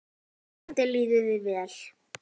Vonandi líður þér vel.